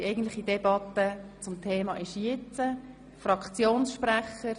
Die eigentliche Debatte zum Thema findet jetzt statt.